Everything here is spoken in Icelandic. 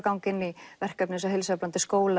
ganga inn í verkefni eins og heilsueflandi skólar